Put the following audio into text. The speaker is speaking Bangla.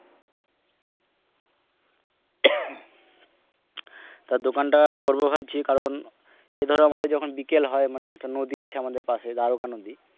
তা দোকান টা করবো ভাবছি কারন এই ধরো আমাদের যখন বিকেল হয় মানে একটা নদী আছে আমাদের পাশে দ্বারকা নদী,